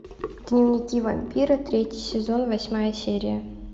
дневники вампира третий сезон восьмая серия